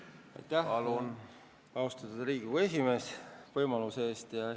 Aitäh, austatud Riigikogu esimees, võimaluse eest!